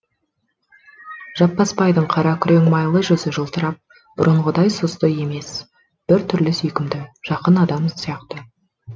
жаппасбайдың қара күрең майлы жүзі жылтырап бұрынғыдай сұсты емес бір түрлі сүйкімді жақын адамы сияқты